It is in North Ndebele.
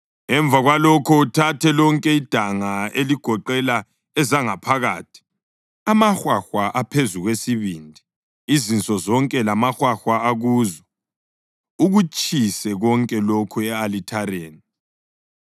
Emva kwalokho uthathe lonke idanga eligoqela ezangaphakathi, amahwahwa aphezu kwesibindi, izinso zonke lamahwahwa akuzo, ukutshise konke lokhu e-alithareni.